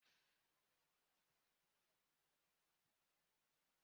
Oke ọhịa sambisa dịkwa njọ.